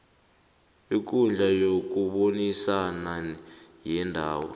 ikundla yokubonisana yendawo